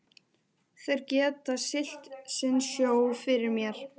Þeir geta siglt sinn sjó fyrir mér.